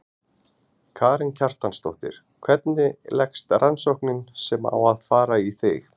Karen Kjartansdóttir: Hvernig leggst rannsóknin sem á að fara í þig?